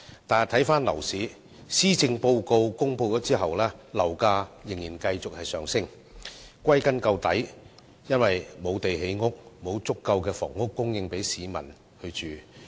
但回看樓市，在施政報告公布後，樓價仍然繼續上升，歸根結底，就是由於缺乏土地建屋，沒有足夠房屋供應給市民居住。